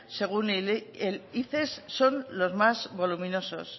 según el ices son los más voluminosos